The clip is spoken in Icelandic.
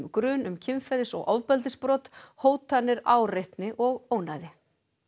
grun um kynferðis og ofbeldisbrot hótanir áreitni og ónæði